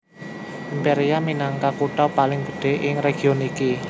Imperia minangka kutha paling gedhé ing region iki